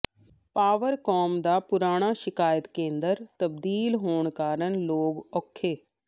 Powercom ਦਾ ਪੁਰਾਣਾ ਸ਼ਿਕਾਇਤ ਕੇਂਦਰ ਤਬਦੀਲ ਹੋਣ ਕਾਰਨ ਲੋਕ ਔਖੇ